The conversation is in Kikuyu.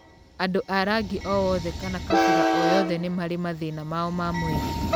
Andũ a rangi o wothe kana kabira o yothe nĩ marĩ mathĩna mao ma mwĩrĩ.